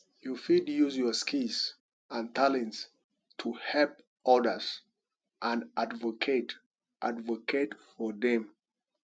you fit use your skills and talents to help odas and advocate advocate for dem